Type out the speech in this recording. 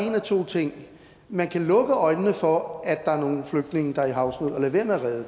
en af to ting man kan lukke øjnene for at der er nogle flygtninge der er i havsnød og lade være med at redde